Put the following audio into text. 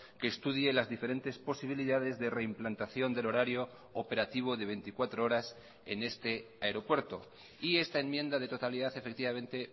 que estudie las diferentes posibilidades de reimplantación del horario operativo de veinticuatro horas en este aeropuerto y esta enmienda de totalidad efectivamente